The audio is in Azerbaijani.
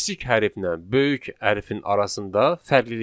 kiçik hərflə böyük hərfin arasında fərqlilik var.